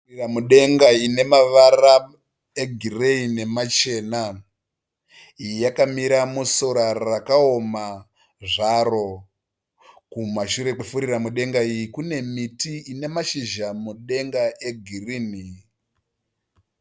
Furiramudenga inemavara egireyi nemachena. Yakamira musora rakaoma zvaro. Kumashure kwefuriramudenga iyi kune miti inemashizha mudenga egirini.